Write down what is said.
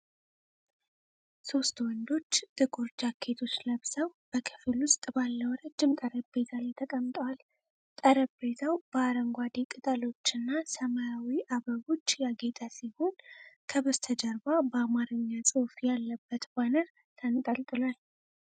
ሶስት ወንዶች ጥቁር ጃኬቶች ለብሰው በክፍል ውስጥ ባለው ረጅም ጠረጴዛ ላይ ተቀምጠዋል። ጠረጴዛው በአረንጓዴ ቅጠሎችና ሰማያዊ አበቦች ያጌጠ ሲሆን፣ ከበስተጀርባ በአማርኛ ጽሑፍ ያለበት ባነር ተንጠልጥሏል።